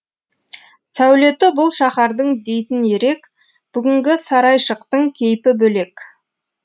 сәулеті бұл шаһардың дейтін ерек бүгінгі сарайшықтың кейпі бөлек